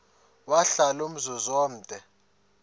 wahlala umzum omde